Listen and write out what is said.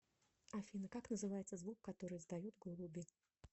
афина как называется звук который издают голуби